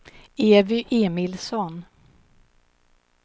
Evy Emilsson